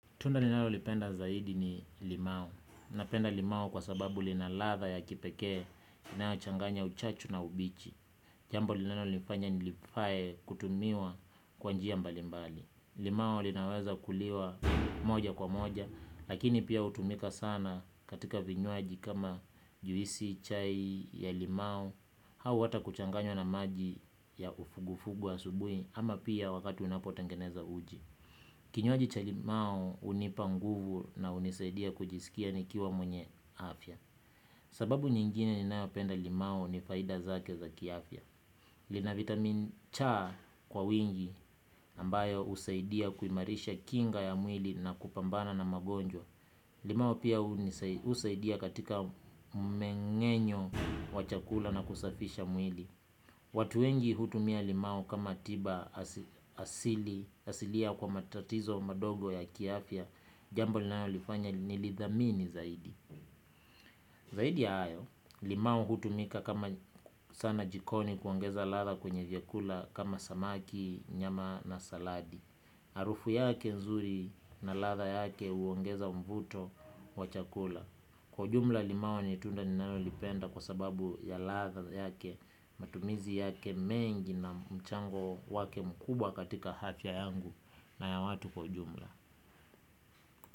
Tunda ninalolipenda zaidi ni limau. Napenda limau kwa sababu lina ladha ya kipekee inayochanganya uchachu na ubichi. Jambo linalonifanya nilifae kutumiwa kwa njia mbali mbali. Limau linaweza kuliwa moja kwa moja. Lakini pia hutumika sana katika vinywaji kama juisi chai ya limau. Au hata kuchanganywa na maji ya uvuguvugu asubui ama pia wakati unapotengeneza uji. Kinywaji cha limau hunipa nguvu na hunisaidia kujisikia nikiwa mwenye afya. Sababu nyingine ninayopenda limao ni faida zake za kiafya. Lina vitamin cha kwa wingi ambayo husaidia kuimarisha kinga ya mwili na kupambana na magonjwa. Limau pia husaidia katika mmengenyo wa chakula na kusafisha mwili. Watu wengi hutumia limau kama tiba asili. Asilia kwa matatizo madogo ya kiafya. Jambo linalolifanya nilidhamini zaidi. Zaidi ya hayo. Limao hutumika kama sana jikoni kuongeza ladha kwenye vyakula. Kama samaki, nyama na saladi HArufu yake nzuri na ladha yake huongeza mvuto wa chakula. Kwa jumla limau ni tunda nimalolipenda kwa sababu ya ladha yake. Matumizi yake mengi na mchango wake mkubwa katika afya yangu na ya watu kwa ujumla.